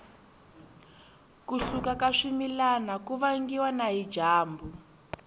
ku hluka ka swimilana ku vangiwa na hi dyambu